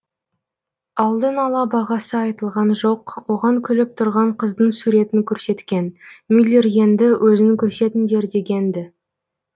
алдын ала бағасы айтылған жоқ оған күліп тұрған қыздың суретін көрсеткен мюллер енді өзін көрсетіңдер деген ді